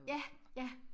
Ja ja